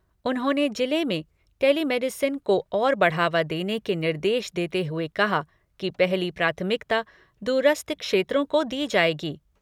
उन्होंने जिले में टेलीमेडिसिन को और बढ़ावा देने के निर्देश देते हुए कहा कि पहली प्राथमिकता दूरस्थ क्षेत्रों को दी जाएगी।